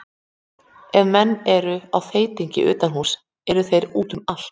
Ef menn eru á þeytingi utan húss eru þeir úti um allt.